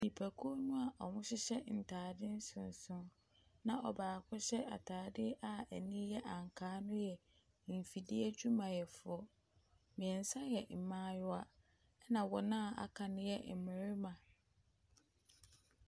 Nipakuo naa wɔhyehyɛ ntaade nsonson na ɔbaako hyɛ ataade a ɛnii yɛ ankaa no yɛ nfidie dwumayɛfoɔ. Mmiɛnsa yɛ mmaayewa ɛna wɔn a aka no yɛ mmarima.